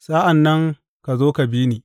Sa’an nan ka zo ka bi ni.